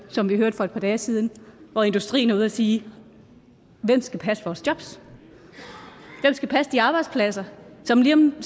som vi hørte for et par dage siden hvor industrien var ude at sige hvem skal passe vores jobs hvem skal passe de arbejdspladser som lige om